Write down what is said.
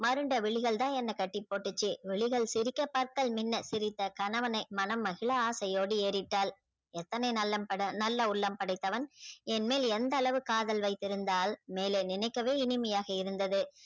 மருண்ட விழிகள் தா என்ன கட்டி போட்டுச்சி விழிகள் சிரிக்க பற்கள் மின்ன சிரித்த கணவனை மனம் மகிழ ஆசை யோடு ஏறிட்டாள் எந்தன நல்ல உள்ளம் படைத்தவன் என் மேல் எந்த அளவு காதல் வைத்து இருந்தால் மேலே நினைக்கவே இனிமையாக இருந்தது